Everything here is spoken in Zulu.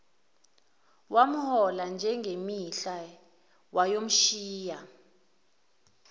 wamhola njengemihla wayomshiya